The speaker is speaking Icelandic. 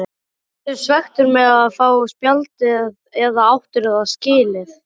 Ertu svekktur með að fá spjaldið eða áttirðu það skilið?